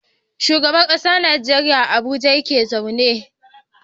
Shugaban ƙasar Nigeria a abuja yake zama